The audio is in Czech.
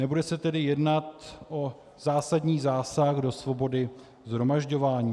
Nebude se tedy jednat o zásadní zásah do svobody shromažďování.